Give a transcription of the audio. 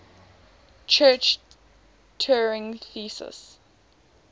church turing thesis